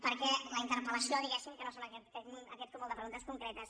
perquè la interpel·lació diguéssim que no és aquest cúmul de preguntes concretes